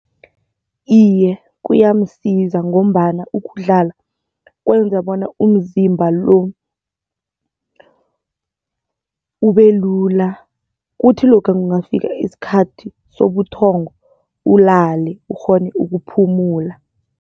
Iye, kuyamsiza ngombana ukudlala kwenza bona umzimba lo ubelula kuthi lokha kungafika isikhathi sobuthongo, ulale ukghone ukuphumula.